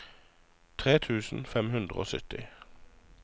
tre tusen fem hundre og sytti